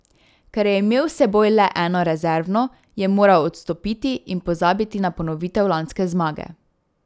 Ker je imel s seboj le eno rezervno, je moral odstopiti in pozabiti na ponovitev lanske zmage.